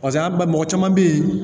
Paseke an b'a mɔgɔ caman be yen